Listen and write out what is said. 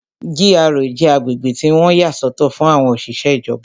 GRA jẹ́ agbègbè tí wọ́n yà sọ́tọ̀ fún àwọn òṣìṣẹ́ ìjọba